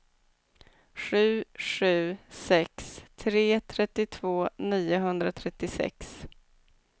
sju sju sex tre trettiotvå niohundratrettiosex